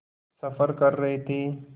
सफ़र कर रहे थे